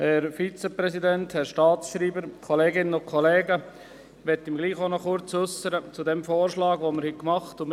Ich möchte mich gleichwohl zum Vorschlag äussern, den wir gemacht haben.